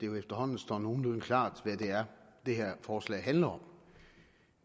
jo efterhånden står nogenlunde klart hvad det er det her forslag handler om